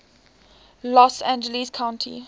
los angeles county